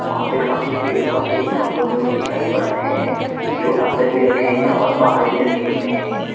वहां पे काफी पेड़ पौधे गमलों में भी दिखाई पड़ रहे है जो अंदर भी रखे है और बाहर भी रखे हुए है।